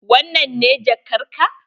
Wannan ne jakar ka?